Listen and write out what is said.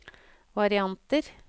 varianter